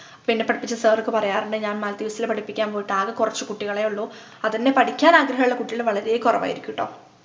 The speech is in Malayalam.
അപ്പോ എന്നെ പഠിപ്പിച്ച sir ഒക്കെ പറയാറുണ്ട് ഞാൻ maldives ലു പഠിപ്പിക്കാൻ പോയിട്ട് ആക കൊറച്ചു കുട്ടികളെയുള്ളൂ അതെന്നെ പഠിക്കാനാഗ്രഹമുള്ള കുട്ടികള് വളരെ കൊറവായിരിക്കു ട്ടോ